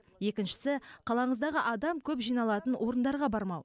екіншісі қалаңыздағы адам көп жиналатын орындарға бармау